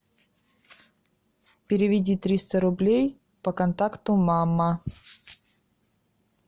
переведи триста рублей по контакту мама